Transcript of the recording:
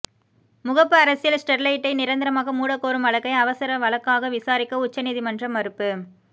முகப்பு அரசியல் ஸ்டெர்லைட்டை நிரந்தரமாக மூடக்கோரும் வழக்கை அவசர வழக்காக விசாரிக்க உச்சநீதிமன்றம் மறுப்பு